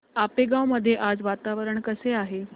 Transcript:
आपेगाव मध्ये आज वातावरण कसे आहे